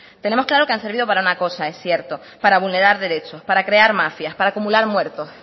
tenemos claro que han servido para una cosa es cierto para vulnerar derechos para crear mafias para acumular muertos